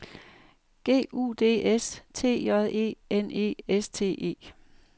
G U D S T J E N E S T E